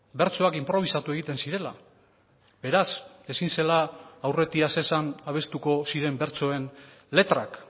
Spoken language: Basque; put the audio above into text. bertsoak inprobisatu egiten zirela beraz ezin zela aurretiaz esan abestuko ziren bertsoen letrak